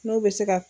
N'o bɛ se ka